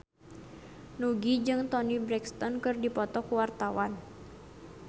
Nugie jeung Toni Brexton keur dipoto ku wartawan